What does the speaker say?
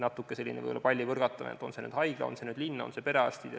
Natuke oli selline palli põrgatamine, et see on nüüd haigla, see on linn ja siin on perearstid.